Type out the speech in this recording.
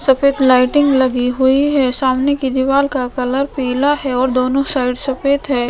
सफ़ेद लाइटिंग लगी हुई है सामने कि दिवार का कलर पीला है और दोनो साईड सफ़ेद है।